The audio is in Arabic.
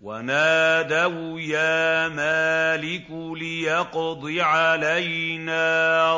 وَنَادَوْا يَا مَالِكُ لِيَقْضِ عَلَيْنَا